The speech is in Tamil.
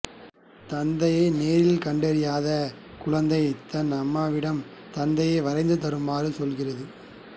நத்தையை நேரில் கண்டறியாத குழந்தை தன் அம்மாவிடம் நத்தையை வரைந்து தருமாறு சொல்கிறது